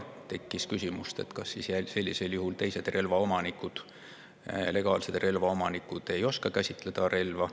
Tekkis küsimus, kas sellisel juhul teised legaalsed relvaomanikud ei oska siis relva käsitseda.